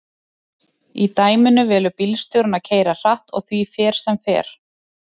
í dæminu velur bílstjórinn að keyra hratt og því fer sem fer